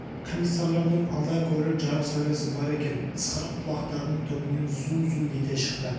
комиссарлардың алда көрер жарық сәулесі бар екен ысқырық құлақтарының түбінен зу-зу ете шықты